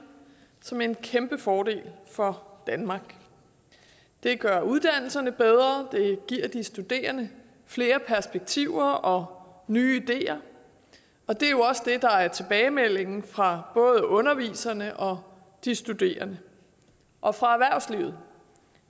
som en kæmpe fordel for danmark det gør uddannelserne bedre det giver de studerende flere perspektiver og nye ideer og det er jo også det der er tilbagemeldingen fra både underviserne og de studerende og fra erhvervslivet